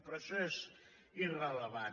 però això és irrellevant